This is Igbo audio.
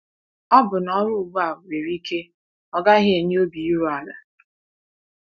Ọbụna ọrụ ugbu a nwere ike ọ gaghị enye obi iru ala.